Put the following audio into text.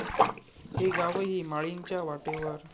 ...हे गावही 'माळीण'च्या वाटेवर!